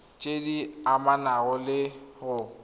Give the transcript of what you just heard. tse di amanang le go